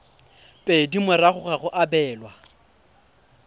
pedi morago ga go abelwa